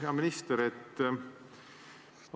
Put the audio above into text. Hea minister!